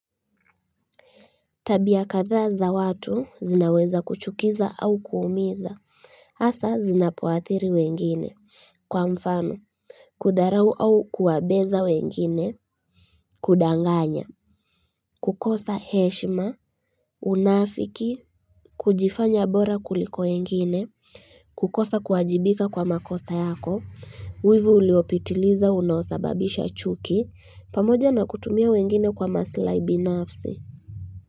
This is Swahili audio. Tabia kathaa za watu zinaweza kuchukiza au kuumiza hasa zinapoathiri wengine kwa mfano Kudharau au kuwabeza wengine kudanganya kukosa heshima Unafiki kujifanya bora kuliko wengine kukosa kuwajibika kwa makosa yako Wivu uliopitiliza unosababisha chuki pamoja na kutumia wengine kwa masilahi binafsi.